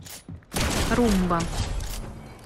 румба